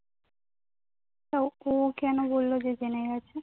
তা ও কেন বললো যে জেনে গেছে